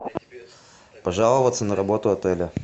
пожаловаться на работу отеля